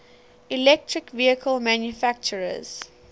electric vehicle manufacturers